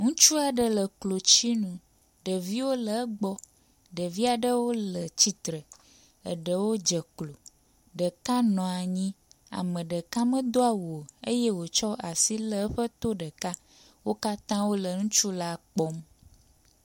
Ŋutsu aɖe le klotsinu. Ɖeviwo le egbɔ. Ɖevia ɖewo le tsitre, eɖewo dze klo, ɖeka nɔ anyi. Ame aɖeka medo awu o eye wotsɔ asi le eƒe to ɖeka. Wo katã wo le ŋutsu la kpɔm.